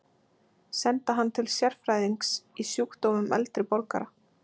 Senda hann til sérfræðings í sjúkdómum eldri borgara?